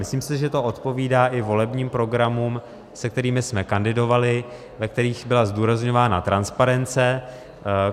Myslím si, že to odpovídá i volebním programům, se kterými jsme kandidovali, ve kterých byla zdůrazňována transparence.